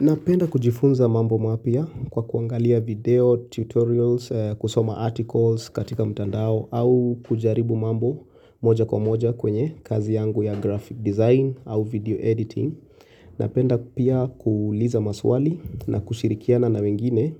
Napenda kujifunza mambo mapya kwa kuangalia video, tutorials, kusoma articles katika mtandao au kujaribu mambo moja kwa moja kwenye kazi yangu ya graphic design au video editing. Napenda pia kuuliza maswali na kushirikiana na wengine